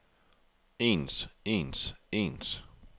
ens ens ens